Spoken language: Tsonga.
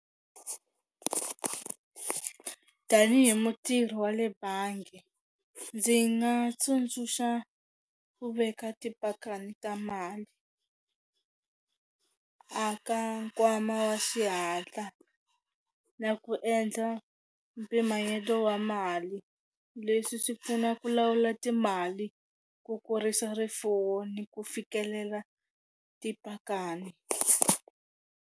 Tanihi mutirhi wa le bangi ndzi nga tsundzuxa ku veka tipakani ta mali aka nkwama wa xihatla na ku endla mpimanyeto wa mali, leswi swi pfuna ku lawula timali ku kurisa rifuwo ni ku fikelela tipakani.